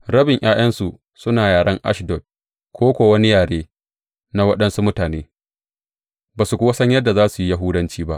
Rabin ’ya’yansu suna yaren Ashdod ko kuwa wani yare na waɗansu mutane, ba su kuwa san yadda za su yi Yahudanci ba.